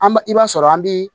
An b i b'a sɔrɔ an bi